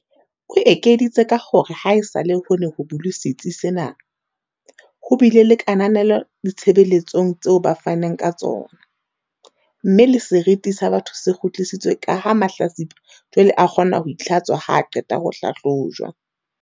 O ekeditse ka hore haesale ho ne ho bulwe setsi sena, ho bile le kananelo ditshebele tsong tseo ba fanang ka tsona, mme le seriti sa batho se kgu tlisitswe kaha mahlatsipa jwale a kgona ho itlhatswa ha a qeta ho hlahlojwa.